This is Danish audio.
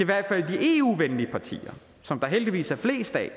hvert fald de eu venlige partier som der heldigvis er flest af